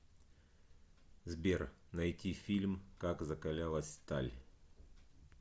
сбер найти фильм как закалялась сталь